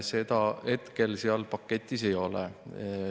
Seda hetkel seal paketis ei ole.